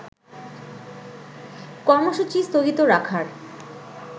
কর্মসূচী স্থগিত রাখার